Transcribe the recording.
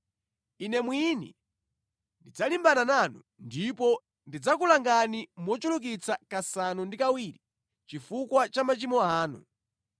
Ine mwini ndidzalimbana nanu, ndipo ndidzakulangani mochulukitsa kasanu ndi kawiri chifukwa cha machimo anu.